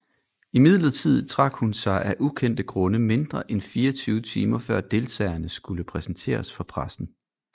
Imidlertid trak hun sig af ukendte grunde mindre end 24 timer før deltagerne skulle præsenteres for pressen